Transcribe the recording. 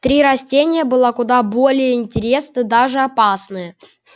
три растения была куда более интересные даже опасны